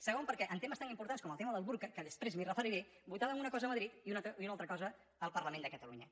segon perquè en temes tan importants com el tema del burca que després m’hi referiré votaven una cosa a madrid i una altra cosa al parlament de catalunya